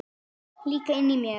Líka inni í mér.